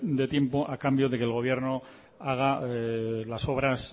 de tiempo a cambio de que el gobierno haga las obras